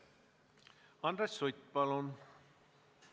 Andres Sutt, palun!